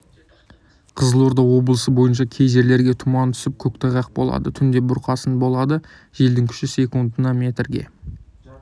қызылорда облысы бойынша кей жерлерге тұман түсіп көктайғақ болады түнде бұрқасын болады желдің күші секундына метрге